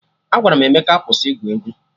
Agwara m Emeka kwụsị igwu egwu!